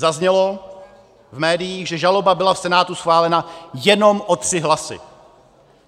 Zaznělo v médiích, že žaloba byla v Senátu schválena jenom o tři hlasy.